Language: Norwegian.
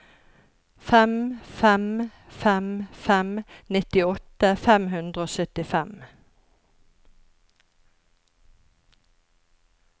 fem fem fem fem nittiåtte fem hundre og syttifem